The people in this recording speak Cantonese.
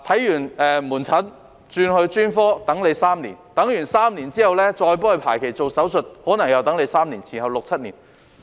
看門診後轉專科需等候3年 ，3 年之後再排期做手術，可能又需等候3年，前後合共六七年。